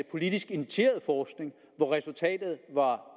politisk initieret forskning hvor resultatet er